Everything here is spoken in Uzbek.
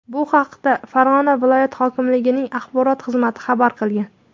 Bu haqda Farg‘ona viloyati hokimligining axborot xizmati xabar qilgan .